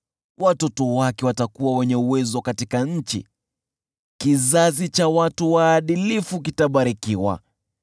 Watoto wake watakuwa wenye uwezo katika nchi, kizazi cha watu waadilifu kitabarikiwa.